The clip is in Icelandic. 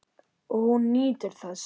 Og hún nýtur þess.